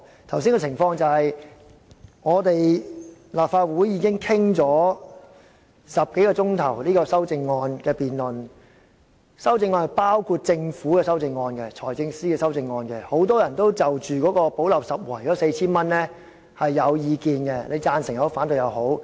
剛才的情況是，立法會已就修正案進行了10多小時的辯論，當中包括由財政司司長提出的政府修正案，很多人也對用作"補漏拾遺"的 4,000 元有意見，既有贊成也有反對。